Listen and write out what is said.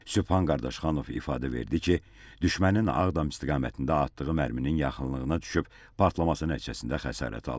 Sübhan Qardaşxanov ifadə verdi ki, düşmənin Ağdam istiqamətində atdığı mərminin yaxınlığına düşüb partlaması nəticəsində xəsarət alıb.